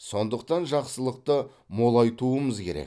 сондықтан жақсылықты молайтуымыз керек